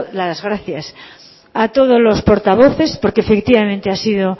las gracias a todos los portavoces porque efectivamente ha sido